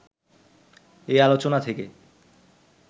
এই আলোচনা থেকে